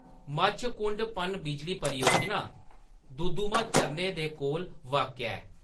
मच्छकुंड पन-बिजली परियोजना दुदुमा झरने दे कोल वाक्या ऐ।